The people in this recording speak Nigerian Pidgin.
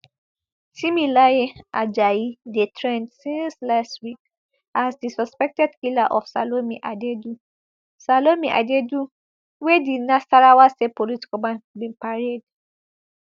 timileyin ajayi dey trend since last week as di suspected killer of salome adaidu salome adaidu wey di nasarawa state police command bin parade